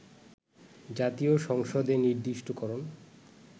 জাতীয় সংসদে নির্দিষ্টকরণ